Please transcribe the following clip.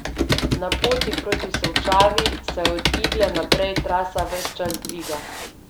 Na poti proti Solčavi se od Igle naprej trasa ves čas dviga.